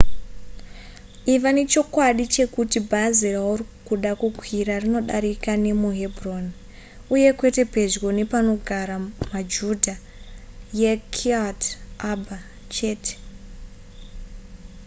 iva nechokwadi chekuti bhazi rauri kuda kukwira rinodarika nemuhebron uye kwete pedyo nepanogara majudha yekiryat arba chete